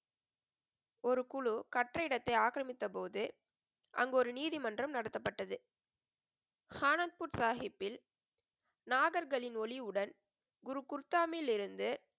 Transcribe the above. ஒரு குழு கற்ற இடத்தை ஆக்கிரமித்த போது, அங்கு ஒரு நீதிமன்றம் நடத்தப்பட்டது. ஆனந்த்பூர் சாஹிப்பில் நாகர்களின் ஒளிவுடன் குரு குர்தாமில் இருந்து,